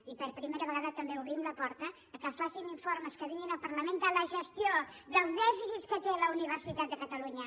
i per primera vegada també obrim la porta que facin informes que vinguin al parlament de la gestió dels dèficits que té la universitat de catalunya